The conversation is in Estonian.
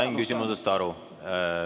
Sain küsimusest aru.